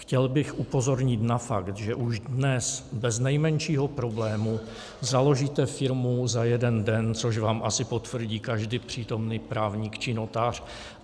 Chtěl bych upozornit na fakt, že už dnes bez nejmenšího problému založíte firmu za jeden den, což vám asi potvrdí každý přítomný právník či notář.